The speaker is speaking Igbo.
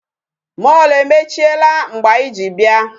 Mall emechiela mgbe anyị ji bịa.